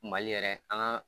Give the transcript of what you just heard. Mali yɛrɛ angan